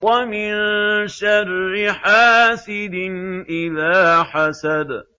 وَمِن شَرِّ حَاسِدٍ إِذَا حَسَدَ